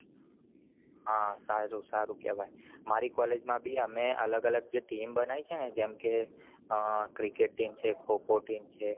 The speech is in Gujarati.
હા સારું કહેવાય મારી college ભી અમે અલગ અલગ team બનાવી છે જેમકે cricket team છે ખો ખો team છે